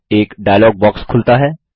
एक dialog box खुलता है